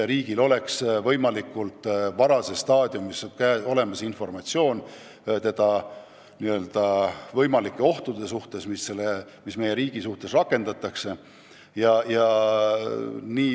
Riigil peab võimalikult varases staadiumis olemas olema informatsioon võimalike teda ähvardavate ohtude kohta.